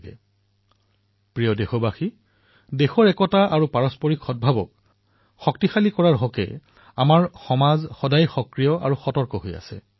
মোৰ মৰমৰ দেশবাসীসকল দেশৰ একতা আৰু পৰস্পৰৰ প্ৰতি সদ্ভাৱনাক সশক্ত কৰাৰ বাবে আমাৰ সমাজে সদায়েই সক্ৰিয় আৰু সতৰ্ক হৈ আহিছে